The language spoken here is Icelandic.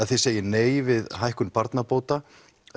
þið segið nei við hækkun barnabóta